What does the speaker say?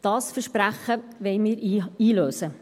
Dieses Versprechen wollen wir einlösen.